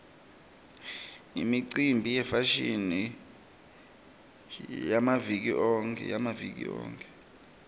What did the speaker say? imicimbi yefashini yamaviki onkhe